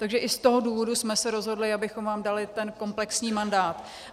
Takže i z toho důvodu jsme se rozhodli, abychom vám dali ten komplexní mandát.